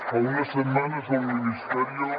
fa unes setmanes el ministerio